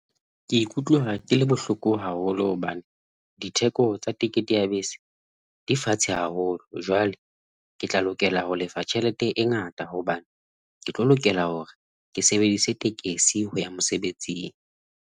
Ke ikutlwa ke le bohloko haholo hobane ditheko tsa tekete ya bese di fatshe haholo. Jwale ke tla lokela ho lefa tjhelete e ngata hobane ke tlo lokela hore ke sebedise tekesi ho ya mosebetsing.